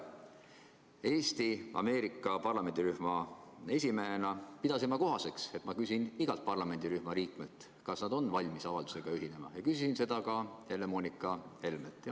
Eesti-USA parlamendirühma esimehena pidasin ma kohaseks, et ma küsin igalt parlamendirühma liikmelt, kas nad on valmis avaldusega ühinema, ja küsisin seda ka Helle-Moonika Helmelt.